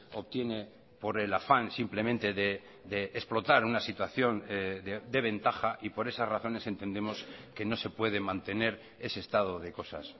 obtiene por el afán simplemente de explotar una situación de ventaja y por esas razones entendemos que no se puede mantener ese estado de cosas